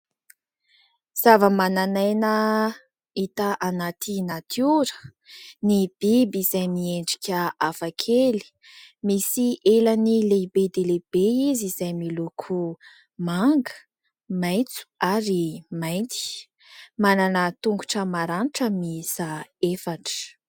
Zavamananaina hita anaty natiora ny biby izay miendrika hafakely, misy elany lehibe dia lehibe izy izay miloko manga, maitso ary mainty ; manana tongotra maranitra miisa efatra.